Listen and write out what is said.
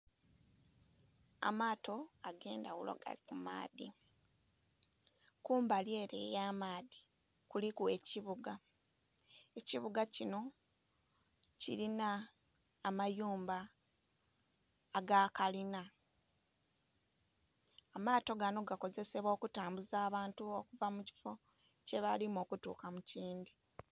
Amaato agendaghulo gali ku maadhi kumbali ere eya maadhi kuliku ekibuga, ekibuga kinho kilinha amayumba aga kalinha. Amaato ganho gakozesebwa okumbuza abantu okuva mu kifoo kye balimu okugya mu lindhi.